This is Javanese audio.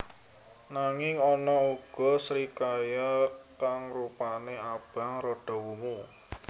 Nanging ana uga srikaya kang rupané abang rada wungu